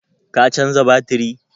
Ka canza batiri?